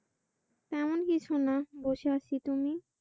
তেমন কিছুনা বসে আছি তুমি?